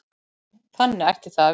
Þannig ætti það að vera.